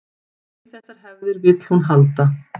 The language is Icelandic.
Í þessar hefðir vill hún halda